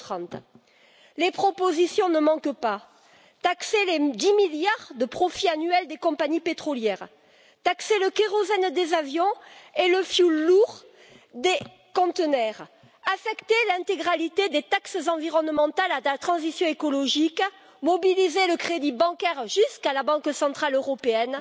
2030. Les propositions ne manquent pas taxer les 10 milliards de profits annuels des compagnies pétrolières, taxer le kérosène des avions et le fioul lourd des porte conteneurs, affecter l'intégralité des taxes environnementales à la transition écologique, mobiliser le crédit bancaire jusqu'à la Banque centrale européenne,